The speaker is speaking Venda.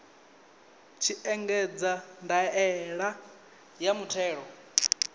tshi ṋekedza ndaela ya muthelo